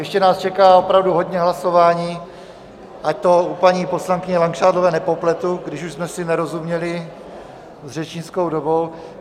Ještě nás čeká opravdu hodně hlasování, ať to u paní poslankyně Langšádlové nepopletu, když už jsme si nerozuměli s řečnickou dobou.